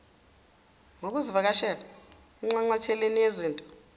ngokuzivakashela enxanxatheleni yezitolo